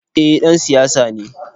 Eh ,ɗan siyasa ne.